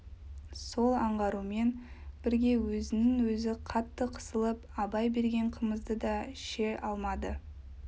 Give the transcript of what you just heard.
сол аңғаруымен бірге өзінен-өзі қатты қысылып абай берген қымызды да ше алмады